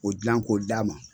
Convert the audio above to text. O dilan ko d'a ma